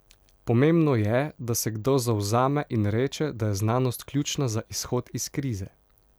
Pomembno je, da se kdo zavzame in reče, da je znanost ključna za izhod iz krize.